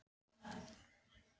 Hún veit að hann getur ekki talað.